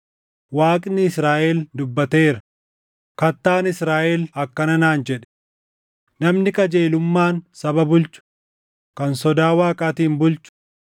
Waaqni Israaʼel dubbateera; Kattaan Israaʼel akkana naan jedhe: ‘Namni qajeelummaan saba bulchu, kan sodaa Waaqaatiin bulchu,